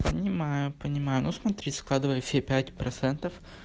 понимаю понимаю ну смотри складывай все пять процентов